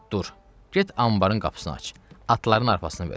Dicəlt dur, get anbarın qapısını aç, atların arpasına ver.